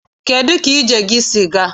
Kedụ ka ije gị si gaa?